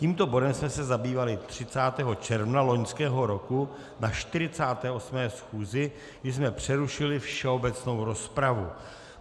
Tímto bodem jsme se zabývali 30. června loňského roku na 48. schůzi, kdy jsme přerušili všeobecnou rozpravu.